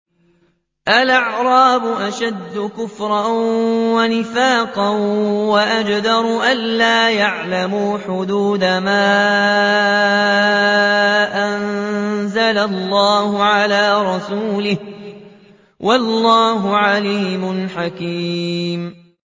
الْأَعْرَابُ أَشَدُّ كُفْرًا وَنِفَاقًا وَأَجْدَرُ أَلَّا يَعْلَمُوا حُدُودَ مَا أَنزَلَ اللَّهُ عَلَىٰ رَسُولِهِ ۗ وَاللَّهُ عَلِيمٌ حَكِيمٌ